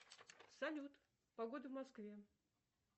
салют погода в москве